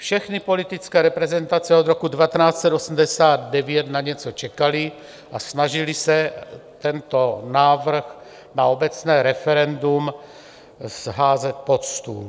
Všechny politické reprezentace od roku 1989 na něco čekaly a snažily se tento návrh na obecné referendum házet pod stůl.